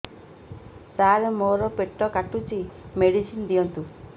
ସାର ମୋର ପେଟ କାଟୁଚି ମେଡିସିନ ଦିଆଉନ୍ତୁ